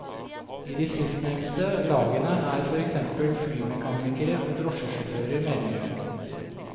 I de sistnevnte lagene er for eksempel flymekanikere og drosjesjåfører medlemmer.